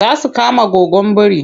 Za su kama goggon biri.